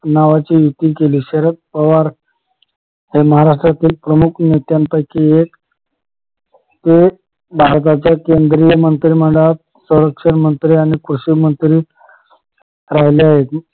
नावाची युती केली शरद पवार हे महाराष्ट्राच्या प्रमुख नेत्यांपैकी एक, एक भारताच्या केंद्रीय मंत्रिमंडळात सरंक्षण मंत्री आणि कृषिमंत्री राहिले आहेत